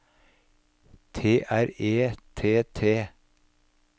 T R E T T